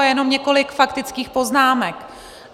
A jenom několik faktických poznámek.